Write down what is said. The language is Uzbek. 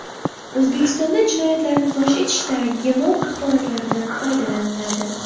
O‘zbekistonda jinoyatlarni fosh etishda genom axborotlaridan foydalaniladi.